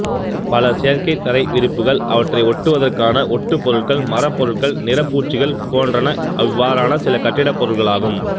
பல செயற்கைத் தரை விரிப்புக்கள் அவற்றை ஒட்டுவதற்கான ஒட்டுபொருட்கள் மரப்பொருட்கள் நிறப்பூச்சுகள் போன்றன இவ்வாறான சில கட்டிடப்பொருட்களாகும்